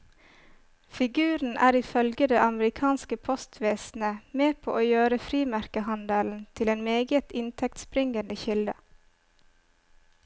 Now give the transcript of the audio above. Figuren er ifølge det amerikanske postvesenet med på å gjøre frimerkehandelen til en meget inntektsbringende kilde.